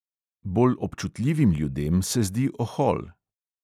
Bolj občutljivim ljudem se zdi ohol.